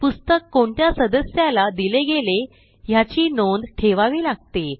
पुस्तक कोणत्या सदस्याला दिले गेले ह्याची नोंद ठेवावी लागते